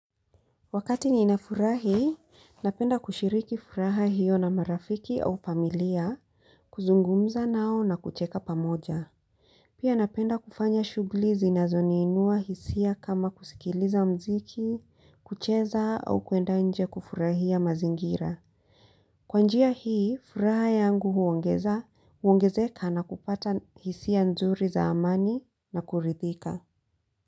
Wakati ninafurahi, napenda kushiriki furaha hiyo na marafiki au familia, kuzungumza nao na kucheka pamoja. Pia napenda kufanya shugli zinazoniinua hisia kama kusikiliza mziki, kucheza au kuenda nje kufurahia mazingira. Kwa njia hii, furaha yangu huongezeka na kupata hisia nzuri za amani na kuridhika.